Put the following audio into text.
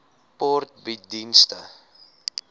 sport bied dienste